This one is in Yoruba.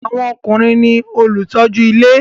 Àwọn ọkùnrin ní olùtọ́jú ilé